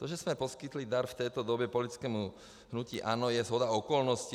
To, že jsme poskytli dar v této době politickému hnutí ANO, je shoda okolností.